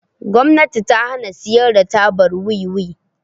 Gwamnati ta hana siyar da tabar Wiwi.